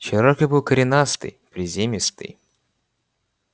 чероки был коренастый приземистый